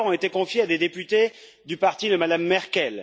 deux rapports ont été confiés à des députés du parti de Mme Merkel.